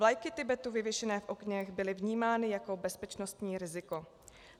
Vlajky Tibetu vyvěšené v oknech byly vnímány jako bezpečnostní riziko.